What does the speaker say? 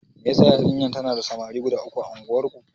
Me yasa yarinyar tana da samari guda uku a unguwar.